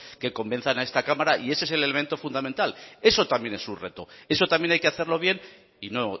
que convenzan a esta cámara y ese es el elemento fundamental eso también es un reto eso también hay que hacerlo bien y no